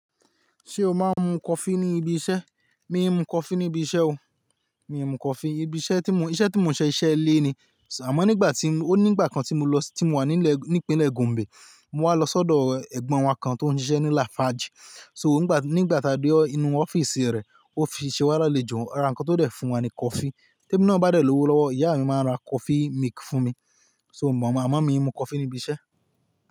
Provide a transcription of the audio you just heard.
Ṣé o máa ń mu coffee ní ibi iṣẹ́? Miì ń mu coffee níbi iṣẹ́ o. Miì ń mu coffee ibi iṣẹ́ tí mò ń-- iṣẹ́ tí mò ń ṣe iṣẹ́ ilé ni, sir. Àmọ́ nígbà tí, ó nígbà kan tí mo lọ sí, tí mò wà nílẹ̀, ní ìpínlẹ̀ Gombe, mo wá lọ sọ́dọ̀ ọ ẹ̀gbọ́n wa kan tó ń ṣiṣẹ́ ní Lafarge. So ńgba, nígbà tá a dé inú u ọ́fíìsì rẹ̀, ó fi ṣe wá lálejó, ara nǹkan tó dẹ̀ fun wa ni coffee. Témi náà bá dẹ̀ lówó lọ́wọ́, ìyá à mi máa ń ra coffee milk fún mi. So mò máa ń, àmọ́ mi ń mu coffee ní ibi iṣẹ́